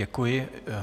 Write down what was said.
Děkuji.